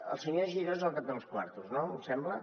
el senyor giró és el que té els quartos no em sembla